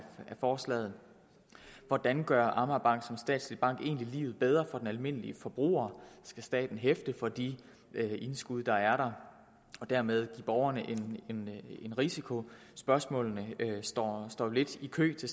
forslaget hvordan gør amagerbanken som statslig bank egentlig livet bedre for den almindelige forbruger skal staten hæfte for de indskud der er der og dermed give borgerne en risiko spørgsmålene står står lidt i kø til